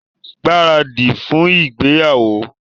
Gbáradì fún ìgbéyàwó!